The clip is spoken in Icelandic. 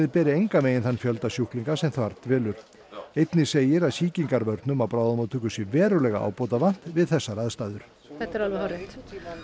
beri engan veginn þann fjölda sjúklinga sem þar dvelur einnig segir að sýkingarvörnum á bráðamóttöku sé verulega ábótavant við þessar aðstæður þetta er alveg hárrétt